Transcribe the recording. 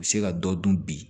U bɛ se ka dɔ dun bi